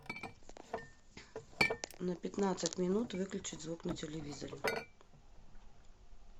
на пятнадцать минут выключить звук на телевизоре